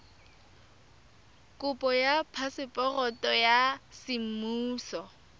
kopo ya phaseporoto ya semmuso